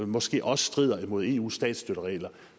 måske også strider imod eus statsstøtteregler